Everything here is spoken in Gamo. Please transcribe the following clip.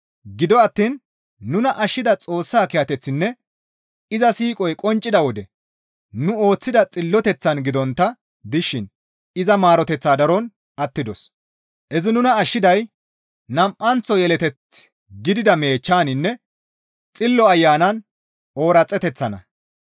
Gido attiin nuna ashshida Xoossaa kiyateththinne iza siiqoy qonccida wode nu ooththida Xilloteththaan gidontta dishin iza maaroteththa daron attidos; izi nuna ashshiday nam7anththo yeleteth gidida meechchaninne Xillo Ayanan ooraxeteththanna.